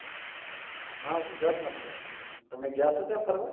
હા ગુજરાત માં છે તમે ગયા થા ત્યાં ફરવા